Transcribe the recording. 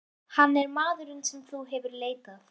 Hann er maðurinn sem hún hefur leitað.